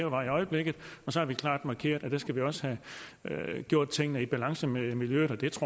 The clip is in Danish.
vej i øjeblikket og så har vi klart markeret at der skal vi også have gjort tingene i balance med miljøet